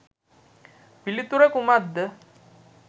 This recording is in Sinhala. පිලිතුර කුමක්ද?